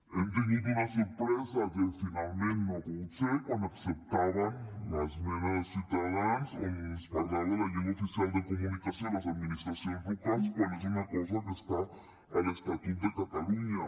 hem tingut una sorpresa que finalment no ha pogut ser quan acceptaven l’esmena de ciutadans on es parlava de la llengua oficial de comunicació a les administracions locals quan és una cosa que està a l’estatut de catalunya